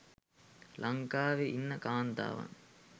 ලංකාවේ ඉන්න කාන්තාවන්